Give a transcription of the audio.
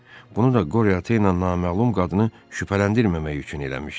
Bunu da Qoryo ata ilə naməlum qadını şübhələndirməmək üçün eləmişdi.